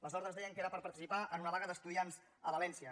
les ordres deien que era per participar en una vaga d’estudiants a valència